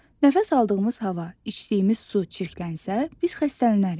Nəfəs aldığımız hava, içdiyimiz su çirklənsə, biz xəstələnərik.